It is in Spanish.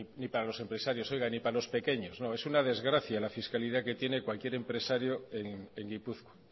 ni para los empresarios oiga ni para los pequeños no es una desgracia la fiscalidad que tiene cualquier empresario en gipuzkoa